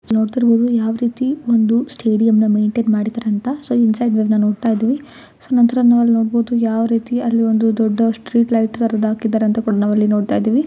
ನೋಡುತ್ತಿರಬಹುದು ಯಾವ ರೀತಿ ಒಂದು ಸ್ಟೇಡಿಯಂನ ಮೈಂಟೈನ್ ಮಾಡಿದ್ದಾರೆ ಅಂತ ಸೊ ಇನ್ಸೈಡ್ ವಿಬ್ನ ನೋಡ್ತಾ ಇದ್ದೀವಿ. ಸೋ ನಂತರ ಅಲ್ಲಿ ನಾವು ನೋಡಬಹುದು ಯಾವ ರೀತಿ ಅಲ್ಲಿ ಒಂದು ದೊಡ್ಡ ಸ್ಟ್ರೀಟ್ ಲೈಟ್ ತರುದು ಹಾಕಿದ್ದಾರೆ ಅಂತ ನಾವು ನೋಡ್ತಾ ಇದ್ದೀವಿ.